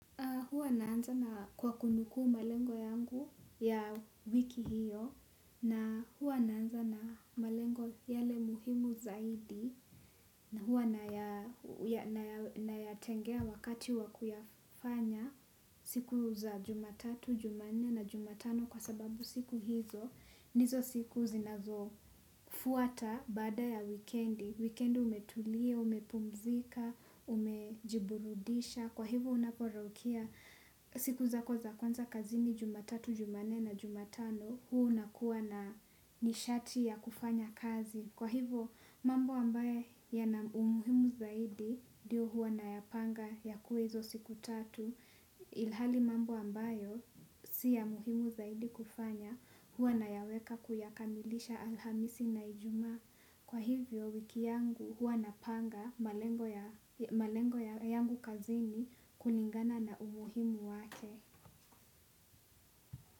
Huwa naanza na kwa kunukuu malengo yangu ya wiki hiyo na huwa naanza na malengo yale muhimu zaidi huwa nayatengea wakati wa kuyafanya siku za Jumatatu Jumanne na Jumatano kwa sababu siku hizo ndizo siku zinazofuata baada ya wikendi, wikendi umetulia, umepumzika, umejiburudisha, kwa hivo unaporaukia siku zako za kwanza kazini Jumatatu, Jumanne na Jumatano, huwa unakuwa na nishati ya kufanya kazi. Kwa hivyo mambo ambayo yana umuhimu zaidi ndiyo huwa nayapanga ya kwanza siku tatu ilhali mambo ambayo siya umuhimu zaidi kufanya huwa nayaweka kuyakamilisha Alhamisi na Ijumaa. Kwa hivyo wiki yangu huwa napanga malengo yangu kazini kulingana na umuhimu wake.